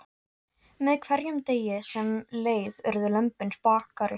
Með hverjum degi sem leið urðu lömbin spakari.